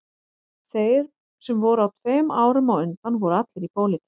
Þeir sem voru tveim árum á undan voru allir í pólitík